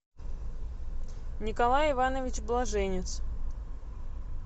николай иванович блаженец